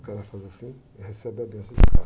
O cara faz assim e recebe a benção do cara